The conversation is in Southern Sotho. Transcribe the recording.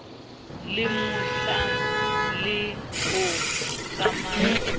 le mohlang le o kgamang